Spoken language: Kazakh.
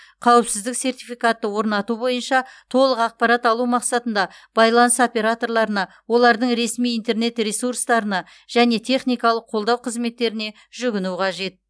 қауіпсіздік сертификатты орнату бойынша толық ақпарат алу мақсатында байланыс операторларына олардың ресми интернет ресурстарына және техникалық қолдау қызметтеріне жүгіну қажет